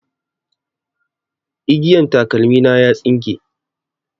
Igiyan takalmi na ya tsinke